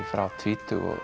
frá tvítugu og